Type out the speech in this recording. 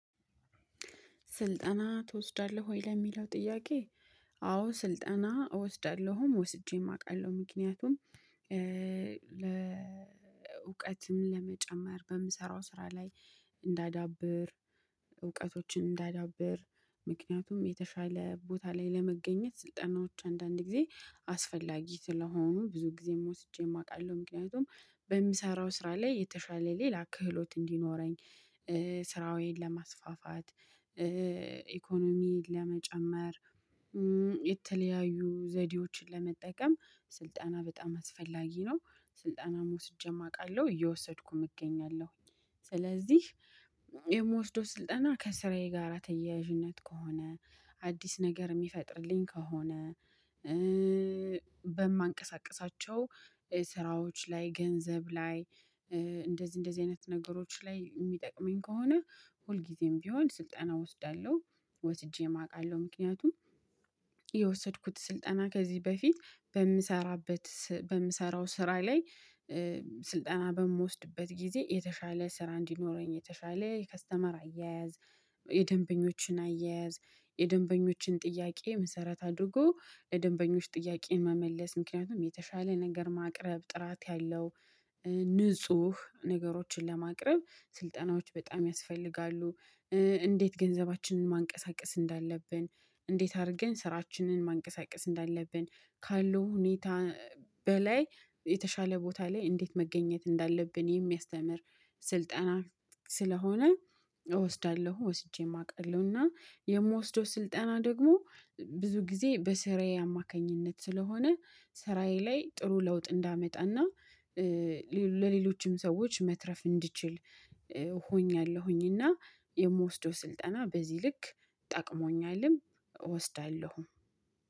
ስልጠና ትወስዳለህ ወይ ለሚለው ጥያቄ? አዎ ስልጠና እወስዳለሁም ወስጄም አውቃለሁ ምክንያቱም። ለእውቀትም ለመጨመር በምሰራው ስራ ላይ እንዳዳብር። እውቀቶችን እንዳዳብር። ምክንያቱም የተሻለ ቦታ ላይ ለመገኘት ስልጠናዎች አንዳንድ ጊዜ አስፈላጊ ስለሆኑ ብዙ ጊዜም ወስጄም አውቃለሁ ምክንያቱም በምሰራው ስራ ላይ የተሻለ ሌላ ክህሎት እንዲኖረኝ። ስራዬን ለማስፋፋት ኢኮኖሚን ለመጨመር። የተለያዩ ዘዴዎችን ለመጠቀም ስልጠና በጣም አስፈላጊ ነው። ስልጠና ወስጄም አውቃለሁ እየወሰድኩም እገኛለሁ። ስለዚህ የምወስደው ስልጠና ከስራዬ ጋራ ተያያዥነት ከሆነ አዲስ ነገር የሚፈጥርልኝ ከሆነ። በማንቀሳቅሳቸው ስራዎች ላይ ገንዘብ ላይ። እንደዚህ እንደዚህ አይነት ነገሮች ላይ የሚጠቅመኝ ከሆነ ሁልጊዜም ቢሆን ስልጠና እወስዳለሁ። ወስጄም አውቃለሁ ምክንያቱም። የወሰድኩት ስልጠና ከዚህ በፊትበምሰራበት በምሰራው ስራ ላይ። ስልጠና በምወስድበት ጊዜ የተሻለ ስራ እንዲኖረኝ የተሻለ ከስተመር አያያዝ። የደንበኞችን አያያዝ። የደንበኞችን ጥያቄ መሰረት አድርጎ ለደንበኞች ጥያቄ መመለስ ምክንያቱም የተሻለ ነገር ማቅረብ ጥራት ያለው ንጹህ ነገሮችን ለማቅረብ ስልጠናዎች በጣም ያስፈልጋሉ። እንዴት ገንዘባችንን ማንቀሳቀስ እንዳለብን እንዴት አድርገን ስራችንን ማንቀሳቀስ እንዳለብን ካለው ሁኔታ በላይ የተሻለ ቦታ ላይ እንዴት መገኘት እንዳለብን የሚያስተምር ስልጠና ስለሆነ። እወስዳለሁ ወስጄም አውቃለሁ። እና የምወስደው ስልጠና ደግሞ ብዙ ጊዜ በስራዬ አማካኝነት ስለሆነ ስራዬ ላይ ጥሩ ለውጥ እንዳመጣና። ሰዎች መትረፍ እንዲችል ሆኛለሁኝና የምወስደው ስልጠና በዚህ ልክ ጠቅሞኛልም። እወስዳለሁ